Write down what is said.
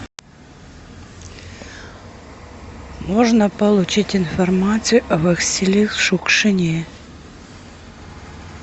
можно получить информацию о василии шукшине